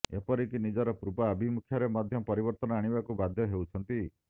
ଏପରିକି ନିଜର ପୂର୍ବ ଆଭିମୁଖ୍ୟରେ ମଧ୍ୟ ପରିବର୍ତ୍ତନ ଆଣିବାକୁ ବାଧ୍ୟ ହେଉଛନ୍ତି